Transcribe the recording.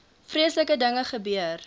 vreeslike dinge gebeur